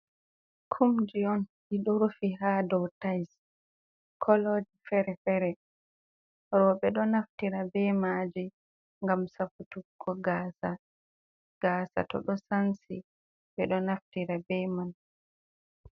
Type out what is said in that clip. Kumji on ɗiɗo rufi haa doo tais, coloji fere-fere, roɓe ɗo naftira be maaji, ngam safutugo gaasa to ɗo sansi ɓe ɗo naftira be man.